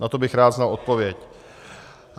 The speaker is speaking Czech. Na to bych rád znal odpověď.